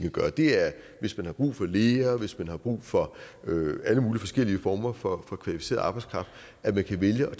at gøre det er hvis man har brug for læger hvis man har brug for alle mulige forskellige former for kvalificeret arbejdskraft at man kan vælge at